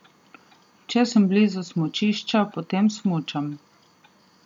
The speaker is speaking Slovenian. Če sem blizu smučišča, potem smučam.